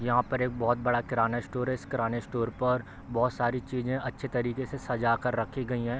यहाँ पर एक बहोत बड़ा किराना स्टोर है इस किराने स्टोर पर बहोत सारे चीजें अच्छी तरीके से सजा कर रखी गई हैं।